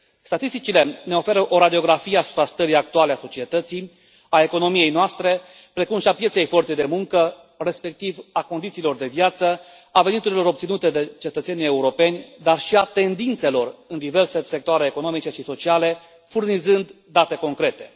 Statisticile ne oferă o radiografie a stării actuale a societății, a economiei noastre, precum și a pieței forței de muncă, respectiv a condițiilor de viață, a veniturilor obținute de cetățenii europeni, dar și a tendințelor în diverse sectoare economice și sociale, furnizând date concrete.